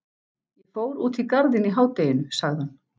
Ég fór út í Garðinn í hádeginu sagði hann.